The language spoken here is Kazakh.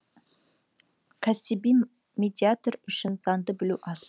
кәсіби медиатор үшін заңды білу аз